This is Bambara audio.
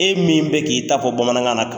E min bɛ k'i ta fɔ bamanankan na.